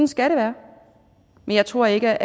skal det være men jeg tror ikke